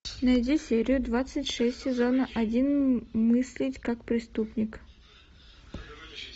найди серию двадцать шесть сезона один мыслить как преступник